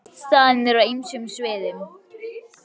Já, svona tengdust staðirnir á ýmsum sviðum.